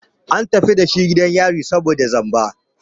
An tafi dashi gidan yari saboda zamba.